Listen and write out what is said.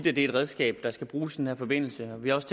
er et redskab der skal bruges i den her forbindelse vi har også